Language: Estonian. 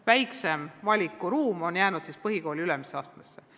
Väike valikuruum on jäetud põhikooli ülemisele astmele.